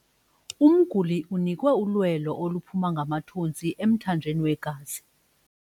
Umguli unikwe ulwelo oluphuma ngamathontsi emthanjeni wegazi.